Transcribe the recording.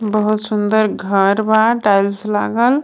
बहुत सुंदर घर बा टाइल्स लागल.